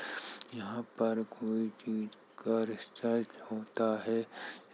यहाँ पर कोई चीज़ का रिसर्च होता है।